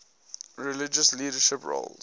religious leadership roles